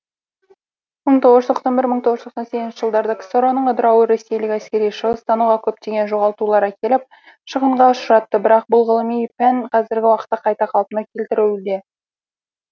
мың тоғыз жүз тоқсан бір мың тоғыз жүз тоқсан сегізінші жылдарда ксро ның ыдырауы ресейлік әскери шығыстануға көптеген жоғалтулар әкеліп шығынға ұшыратты бірақ бұл ғылыми пән қазіргі уақытта қайта қалпына келтірілуде